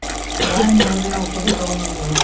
না নেৰে ঔষধে খাব লগীয়া হল